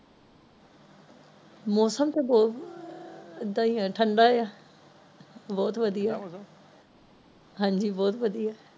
ਮੌਸਮ ਤੇ ਬਹੁਤ ਏਦਾ ਹੀ ਆ ਠੰਡਾ ਹੀ ਆ ਬਹੁਤ ਵਧਿਆ ਹਾਂਜੀ ਬਹੁਤ ਵਧਿਆ